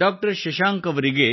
doctor Shashank ಅವರಿಗೆ